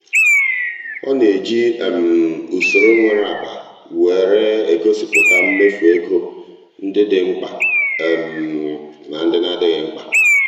ọ na-eji usoro nwere agba were egosịpụta mmefu ego ndị dị mkpa na ndị adịghị mkpa.